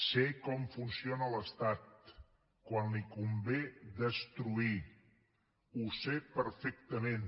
sé com funciona l’estat quan li convé destruir ho sé perfectament